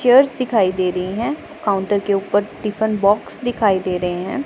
Cheers दिखाई दे रही हैं काउंटर के ऊपर टिफन बॉक्स दिखाई दे रहे हैं।